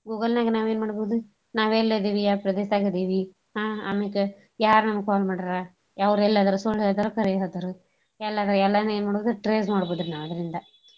Google ನ್ಯಾಗ ನಾವ್ ಎನ್ ಮಾಡ್ಬೋದು ನಾವ್ ಎಲ್ಲೆದಿವಿ ಯಾವ್ ಪ್ರದೇಶ್ದಾಗ್ ಆದಿವಿ ಹ್ಞಾ ಅಮೇಕ ಯಾರ್ ನನ್ಗ phone ಮಾಡ್ಯಾರಾ? ಅವ್ರ ಎಲ್ಲೆದಾರ ಸುಳ್ಳ ಹೇಳ್ತಾರೋ ಕರೆ ಹೇಳ್ತಾರೋ ಎಲ್ಲಿಯಾರ ಎಲ್ಲಾನೂ ಎನ್ ಮಾಡ್ಬೋದು trace ಮಾಡ್ಬೋದ್ ರಿ ನಾವ್ ಅದ್ರಿಂದ.